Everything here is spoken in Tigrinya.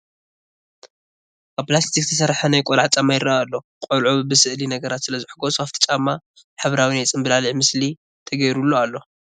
ካብ ፕላስቲክ ዝተሰርሐ ናይ ቆልዐ ጫማ ይርአ ኣሎ፡፡ ቆልዑ ብስእሊ ነገራት ስለዝሕጐሶ ኣብቲ ጫማ ሕብራዊ ናይ ፅምብላሊዕ ምስሊ ተገይሩሉ ኣሎ፡፡